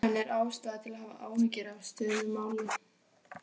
En er ástæða til að hafa áhyggjur af stöðu mála?